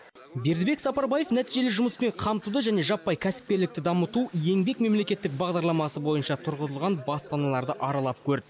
бердібек сапарбаев нәтижелі жұмыспен қамтуды және жаппай кәсіпкерлікті дамыту еңбек мемлекеттік бағдарламасы бойынша тұрғызылған баспаналарды аралап көрді